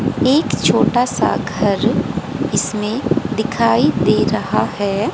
एक छोटा सा घर इसमें दिखाई दे रहा है।